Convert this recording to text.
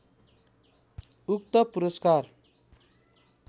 उक्त पुरस्कार